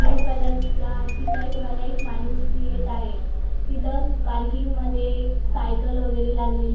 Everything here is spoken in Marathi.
ब्लू कलर चा टी शर्ट वाला एक माणूसं येतं आहे. तिथं पार्किंग मध्ये एक सायकल वगैरे लागलेली--